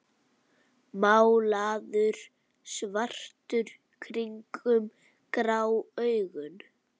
Málaður svartur kringum grá augun.